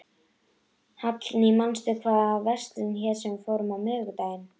Hallný, manstu hvað verslunin hét sem við fórum í á miðvikudaginn?